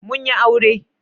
Mun yi aure.